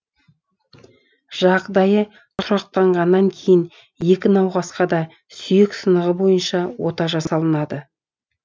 жағдайы тұрақтанғаннан кейін екі науқасқа да сүйек сынығы бойынша ота жасалынады